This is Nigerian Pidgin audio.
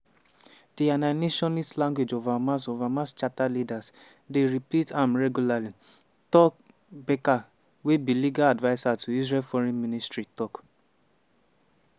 “di annihilationist language of hamas of hamas charter leaders dey repeat am regularly” tal becker wey be legal adviser to israel foreign ministry tok.